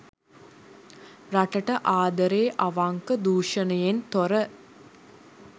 රටට ආදරේ අවංක දුෂණයෙන් තොර